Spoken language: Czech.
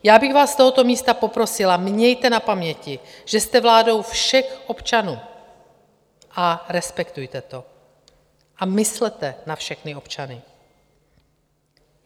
Já bych vás z tohoto místa poprosila: mějte na paměti, že jste vládou všech občanů, a respektujte to a myslete na všechny občany.